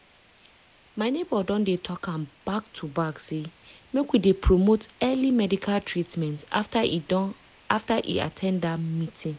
my neighbor don dey talk am back to back say make we dey promote early medical treatment after e at ten d dat meeting.